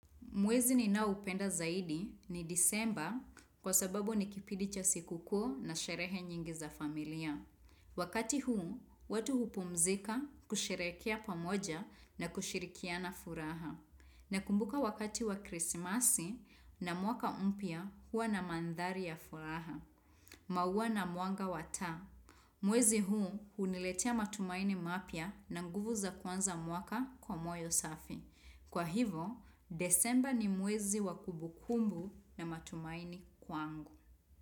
Mwezi ninaoupenda zaidi ni disemba kwa sababu ni kipidi cha siku kuu na sherehe nyingi za familia. Wakati huu, watu hupumzika kusherekea pamoja na kushirikiana furaha. Nakumbuka wakati wa krisimasi na mwaka mpya huwa na mandhari ya furaha. Maua na mwanga wa taa. Mwezi huu huniletia matumaini mapya na nguvu za kuanza mwaka kwa moyo safi. Kwa hivo, desemba ni mwezi wa kubukumbu na matumaini kwangu.